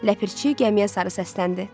Ləpərçi gəmiyə sarı səsləndi.